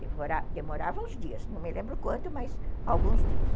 Demorava uns dias, não me lembro quanto, mas alguns dias.